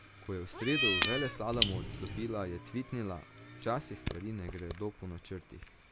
Ko je v sredo v veleslalomu odstopila, je tvitnila: "Včasih stvari ne gredo po načrtih.